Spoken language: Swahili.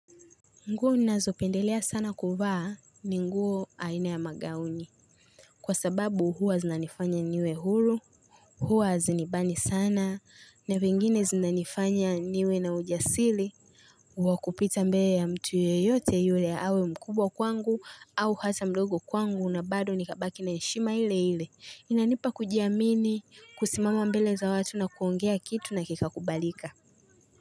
Nguo ninazopendelea sana kuvaa ni nguo aina ya magauni. Kwa sababu huwa zinanifanya niwe hulu, huwa hazinibani sana, na vingine zinanifanya niwe na ujasili, wakupita mbele ya mtu yeyote yule awe mkubwa kwangu au hata mdogo kwangu na bado nikabaki na na heshima ile ile. Inanipa kujiamini, kusimama mbele za watu na kuongea kitu na kika kubalika.